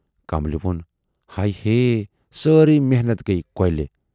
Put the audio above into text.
کملہِ وون، ہے ہیے، سٲری محنتھ گٔیہِ کۅلہِ